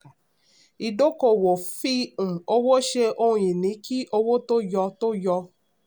ìdókòòwò: fí um owó ṣe ohun ìní kí owó tó yọ. tó yọ.